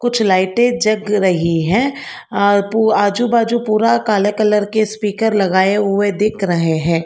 कुछ लाइटें जग रही हैं आजु बाजु पूरा काले कलर के स्पीकर लगे हुए दिख रहे हैं।